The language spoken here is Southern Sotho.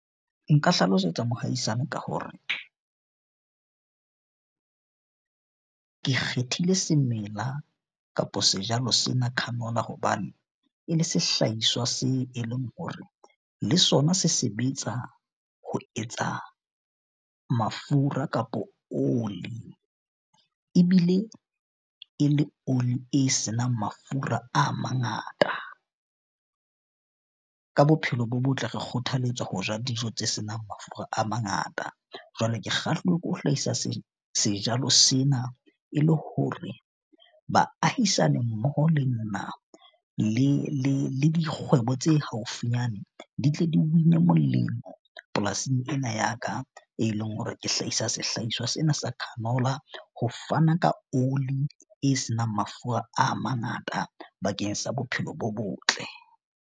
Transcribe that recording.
Nka hlalosetsa mohaisane ka hore ke kgethile semela kapo sejalo se na canola. Hobane e le sehlahiswa se e leng hore le sona se sebetsa ho etsa mafura kapo oli. Ebile e le oli e senang mafura a mangata. Ka bophelo bo botle, re kgothalletswa ho ja dijo tse senang mafura a mangata. Jwale ke kgahluwe ke ho hlahisa sejalo sena e le hore baahisane mmoho le nna le dikgwebo tse haufinyane, di tle di win-e molemo polasing ena ya ka. E leng hore ke hlahisa sehlahiswa sena sa canola ho fana ka oli e senang mafura a mangata bakeng sa bophelo bo botle.